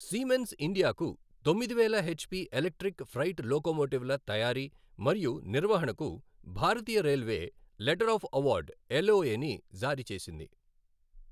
Siemens ఇండియాకు తొమ్మిది వేల హెచ్పీ ఎలక్ట్రిక్ ఫ్రైట్ లోకోమోటివ్ల తయారీ మరియు నిర్వహణకు భారతీయ railway letter of award LOA ని జారీ చేసింది.